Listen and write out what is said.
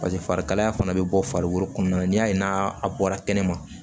paseke farikalaya fana be bɔ farikolo kɔnɔna na n'i y'a ye n'a bɔra kɛnɛma